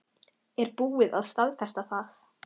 Er búið að staðfesta það?